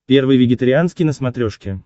первый вегетарианский на смотрешке